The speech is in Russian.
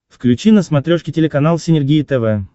включи на смотрешке телеканал синергия тв